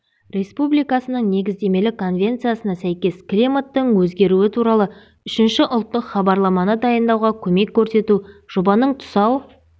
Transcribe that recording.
республикасының негіздемелік конвенциясына сәйкес климаттың өзгеруі туралы үшінші ұлттық хабарламаны дайындауға көмек көрсету жобаның тұсау